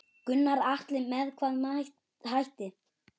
Gunnar Atli: Með hvaða hætti?